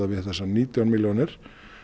við þessar nítján milljónir